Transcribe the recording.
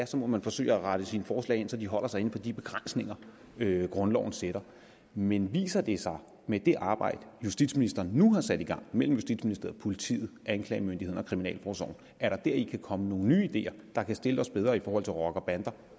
så må man forsøge at rette sine forslag ind så de holder sig inden for de begrænsninger grundloven sætter men viser det sig med det arbejde justitsministeren nu har sat i gang mellem justitsministeriet politiet anklagemyndigheden og kriminalforsorgen at der kan komme nogle nye ideer der kan stille os bedre i forhold til rockerbander